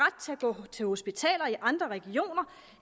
ret til hospitaler i andre regioner